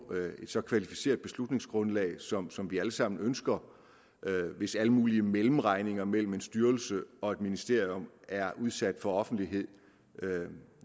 et så kvalificeret beslutningsgrundlag som som vi alle sammen ønsker hvis alle mulige mellemregninger mellem en styrelse og et ministerium er udsat for offentlighed